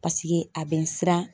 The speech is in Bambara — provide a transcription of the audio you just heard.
Paseke a bɛ n siran